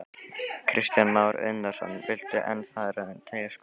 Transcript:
Kristján Már Unnarsson: Viltu enn fara um Teigsskóg?